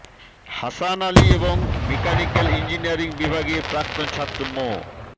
হাসান আলী এবং mechanical engineering বিভাগের প্রাক্তন ছাত্র মো